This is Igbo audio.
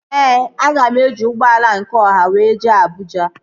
Ee, aga m eji ụgbọala nke ọha wee jee Abụja